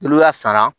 N'u y'a sara